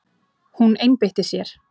Hún einbeitti sér.